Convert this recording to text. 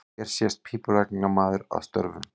Hér sést pípulagningamaður að störfum.